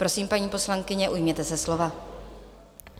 Prosím, paní poslankyně, ujměte se slova.